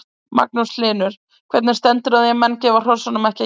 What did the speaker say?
Magnús Hlynur: Hvernig stendur á því að menn gefa hrossunum ekki að éta?